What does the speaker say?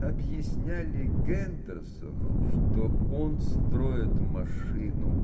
объясняли гендерсону что он строит машину